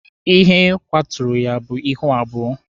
Ihe kwaturu ya bụ ihu abụọ.